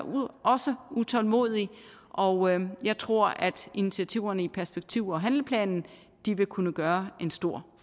også utålmodig og jeg tror at initiativerne i perspektiv og handleplanen vil kunne gøre en stor